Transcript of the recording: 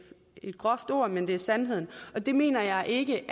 groft ord men det er sandheden og det mener jeg ikke